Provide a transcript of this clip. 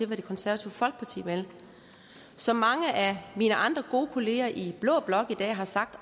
hvad det konservative folkeparti vil som mange af mine andre gode kollegaer i blå blok har sagt